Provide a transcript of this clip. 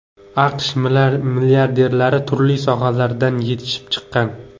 AQSh milliarderlari turli sohalardan yetishib chiqqan.